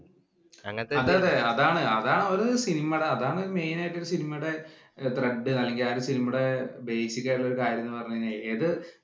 അതെയതെ അതാണ്‌. അത് ഒരു സിനിമയുടെ അതാണ്‌ main ആയിട്ട് ഒരു സിനിമയുടെ thread അല്ലെങ്കില്‍ ആ സിനിമയുടെ basic ആയിട്ടുള്ള ഒരു കാര്യം എന്ന് പറഞ്ഞു കഴിഞ്ഞാല്‍ ഏതു